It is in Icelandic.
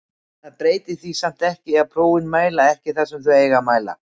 Það breytir því samt ekki að prófin mæla ekki það sem þau eiga að mæla.